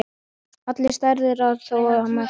Allir særðir, en þó einn mest.